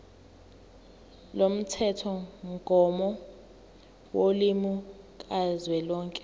lomthethomgomo wolimi kazwelonke